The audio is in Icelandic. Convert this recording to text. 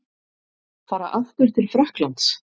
Fara aftur til Frakklands?